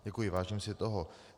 Děkuji, vážím si toho.